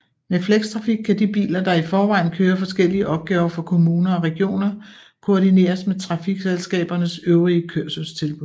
Med flextrafik kan de biler der i forvejen kører forskellige opgaver for kommuner og regioner koordineres med trafikselskabernes øvrige kørselstilbud